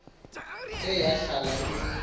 ke yahlala imnika